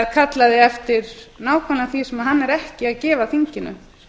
kallaði eftir nákvæmlega því sem hann er ekki að gefa þinginu